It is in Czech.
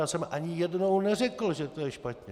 Já jsem ani jednou neřekl, že to je špatně.